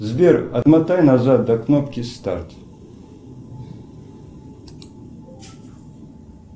сбер отмотай назад до кнопки старт